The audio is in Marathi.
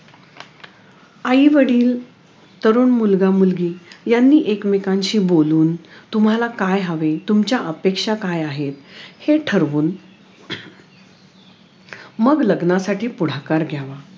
आई वडील तरुण मुलगा मुलगी यांनी एक मेकांशी बोलून तुम्हाला काय हवे तुमच्या अपेक्षा काई आहेत हे ठरवून मग लग्नासाठी पुढाकार घ्यावा